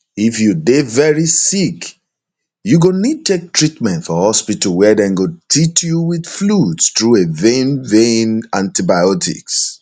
if you dey veri sick you go need take treatment for hospital wia dem go teat you wit fluids through a vein vein antibiotics